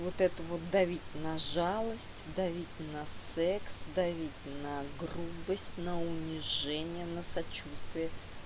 вот это вот давить на жалость давить на секс давить на грубость на унижение на сочувствие